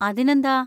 അതിനെന്താ!